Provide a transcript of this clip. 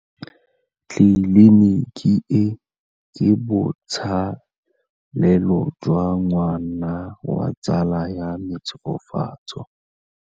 Tleliniki e, ke botsalêlô jwa ngwana wa tsala ya me Tshegofatso.